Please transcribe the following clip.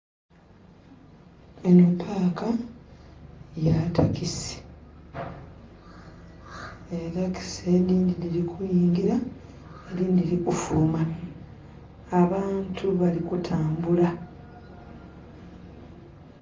Eno paaka ya takisi. Etakisi edindi diri kuyingira edindi diri kufuluma. Abantu bali kutambula.